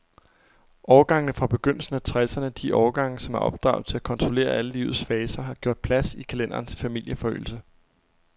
Årgangene fra begyndelsen af tresserne, de årgange, som er opdraget til at kontrollere alle livets faser, har gjort plads i kalenderen til familieforøgelse.